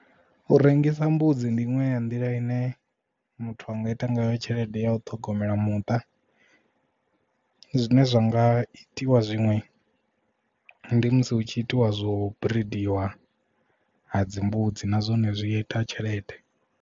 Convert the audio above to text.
U rengisa mbudzi ndi iṅwe ya nḓila ine muthu anga ita ngayo tshelede ya u ṱhogomela muṱa zwine zwa nga itiwa zwiṅwe ndi musi hu tshi itiwa zwo bridiwa ha dzi mbudzi na zwone zwi ita tshelede.